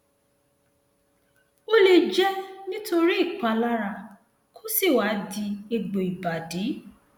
ó lè jẹ nítorí ìpalára kó sì wá di egbò ìbàdí